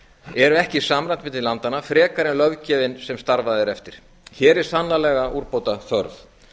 eru ekki samræmd milli landanna frekar en löggjöfin sem starfað er eftir hér er sannarlega úrbóta þörf